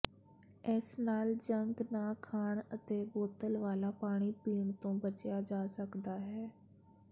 ਇਸ ਨਾਲ ਜੰਕ ਨਾ ਖਾਣ ਅਤੇ ਬੋਤਲ ਵਾਲਾ ਪਾਣੀ ਪੀਣ ਤੋਂ ਬਚਿਆ ਜਾ ਸਕਦਾ ਹੈ